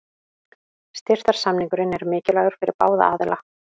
Styrktarsamningurinn er mikilvægur fyrir báða aðila.